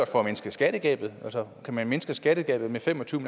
for at mindske skattegabet for kan man mindske skattegabet med fem og tyve